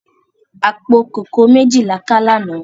Apó kókòó méji lá ká làná